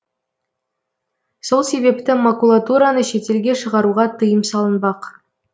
сол себепті макулатураны шетелге шығаруға тыйым салынбақ